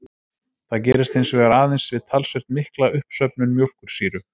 Það gerist hins vegar aðeins við talsvert mikla uppsöfnun mjólkursýru.